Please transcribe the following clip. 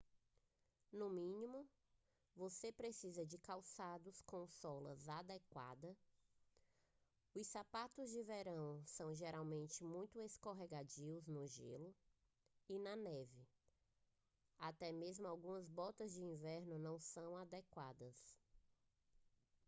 no mínimo você precisa de calçados com sola adequada os sapatos de verão são geralmente muito escorregadios no gelo e na neve até mesmo algumas botas de inverno não são adequadas